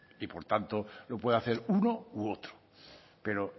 y por tanto lo puede hacer uno u otro pero